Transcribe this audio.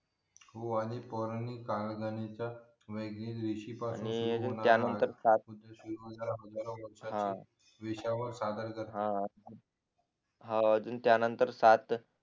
हो आणि पुराणिक काळानिमित्य ऋषीपण आणि त्या नंतर हा विषयावर सादर करत हा हा अजून त्या नंतर सात